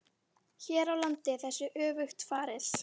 Hér á landi er þessu öfugt farið.